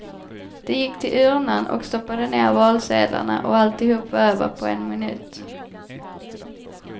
De gick till urnan och stoppade ner valsedlarna, och alltihop var över på en minut.